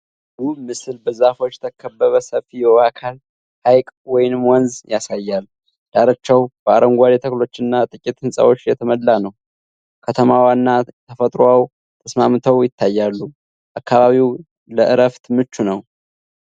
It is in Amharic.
ውብ ምስል በዛፎች የተከበበ ሰፊ የውሃ አካል (ሐይቅ ወይም ወንዝ) ያሳያል። ዳርቻው በአረንጓዴ ተክሎችና ጥቂት ሕንፃዎች የተሞላ ነው። ከተማዋና ተፈጥሮው ተስማምተው ይታያሉ። አካባቢው ለዕረፍት ምቹ ነው?